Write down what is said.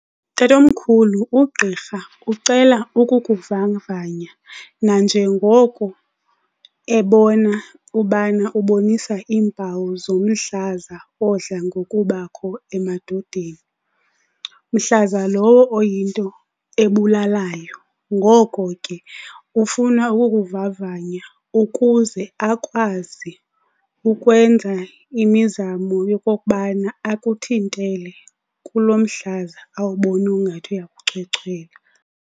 Tatomkhulu, ugqirha ucela ukukuvavanya nanjengoko ebona ubana ubonisa iimpawu zomhlaza odla ngokubakho emadodeni, mhlaza lowo oyinto ebulalayo. Ngoko ke ufuna ukukuvavanya ukuze akwazi ukwenza imizamo yokokubana akuthintele kulo mhlaza awubona ungathi uyakuchwechwela.